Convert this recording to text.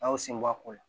A y'o sen bɔ a ko la